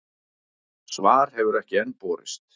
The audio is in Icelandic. Svar hefur enn ekki borist.